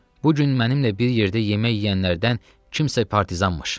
Bu gün mənimlə bir yerdə yemək yeyənlərdən kimsə partizanmış.